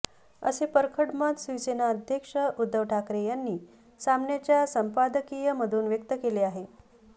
असे परखड मत शिवसेना अध्यक्ष उद्धव ठाकरे यांनी सामनाच्या संपादकीय मधून व्यक्त केले आहे